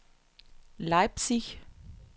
Leipzig